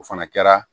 O fana kɛra